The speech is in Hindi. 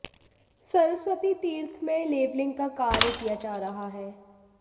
सरस्वती तीर्थ में लेवलिंग का कार्य किया जा रहा है